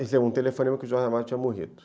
um telefonema que o Jorge Amado tinha morrido.